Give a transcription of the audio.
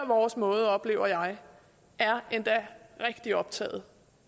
vores måde oplever jeg er endda rigtig optaget